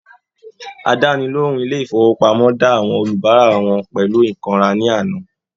Àdánilohùn ilé ifowopamọ da àwọn olubara wọn pẹlu ikanra ní àná.